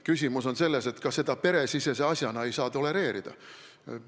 Küsimus on selles, et seda ei saa ka peresisese asjana tolereerida.